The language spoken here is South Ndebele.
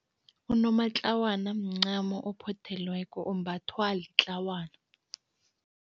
Unomatlawana mncamo ophothelweko, ombathwa litlawana.